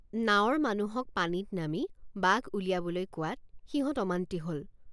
নাৱৰ মানুহক পানীত নামি বাঘ উলিয়াবলৈ কোৱাত সিহঁত অমান্তি হল।